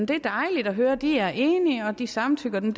det er dejligt at høre at de er enige og at de samtykker det